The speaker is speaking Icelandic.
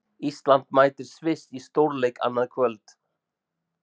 Ísland mætir Sviss í stórleik annað kvöld.